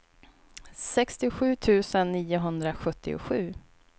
sextiosju tusen niohundrasjuttiosju